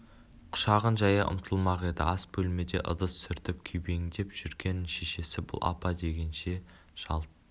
құшағын жая ұмтылмақ еді ас бөлмеде ыдыс сүртіп күйбеңдеп жүрген шешесі бұл апа дегенше жалт